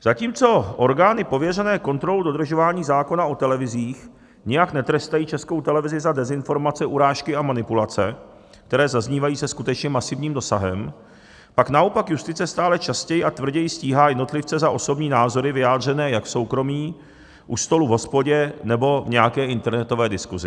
Zatímco orgány pověřené kontrolou dodržování zákona o televizích nijak netrestají Českou televizi za dezinformace, urážky a manipulace, které zaznívají se skutečně masivním dosahem, pak naopak justice stále častěji a tvrději stíhá jednotlivce za osobní názory vyjádřené jak v soukromí, u stolu v hospodě, nebo v nějaké internetové diskusi.